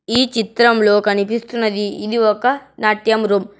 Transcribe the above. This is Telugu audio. ఈ చిత్రంలో కనిపిస్తున్నది ఇది ఒక నాట్యం రూమ్ .